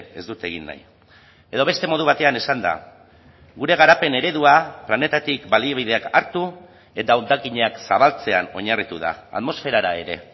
ez dut egin nahi edo beste modu batean esanda gure garapen eredua planetatik baliabideak hartu eta hondakinak zabaltzean oinarritu da atmosferara ere